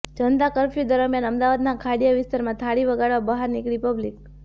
જનતા curfew દરમિયાન અમદાવાદના ખાડીયા વિસ્તારમાં થાળી વગાડવા બહાર નીકળી પબ્લિક